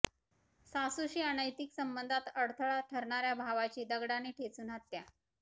सासूशी अनैतिक संबंधांत अडथळा ठरणाऱ्या भावाची दगडाने ठेचून हत्या